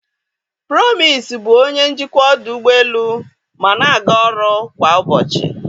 Promise bụ onye njikwa ọdụ ụgbọ elu ma na-aga ọrụ kwa ụbọchị.